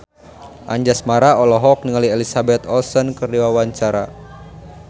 Anjasmara olohok ningali Elizabeth Olsen keur diwawancara